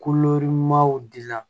dila